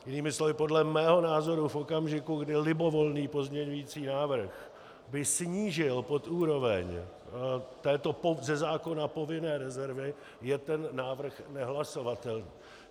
Jinými slovy podle mého názoru v okamžiku, kdy libovolný pozměňující návrh by snížil pod úroveň této ze zákona povinné rezervy, je ten návrh nehlasovatelný.